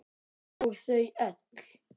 Og þau öll.